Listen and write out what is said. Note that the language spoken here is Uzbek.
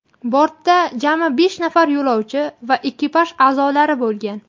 Bortda jami besh nafar yo‘lovchi va ekipaj a’zolari bo‘lgan.